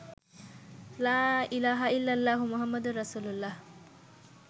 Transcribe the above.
লা ইলাহা ইল্লাল্লাহু মুহাম্মাদুর রাসুলুল্লাহ